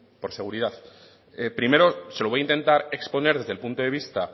por seguridad primero se lo voy a intentar exponer desde el punto de vista